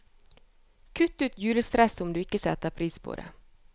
Kutt ut julestresset, om du ikke setter pris på det.